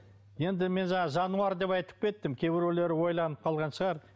енді мен жаңағы жануар деп айтып кеттім кейбіреулері ойланып қалған шығар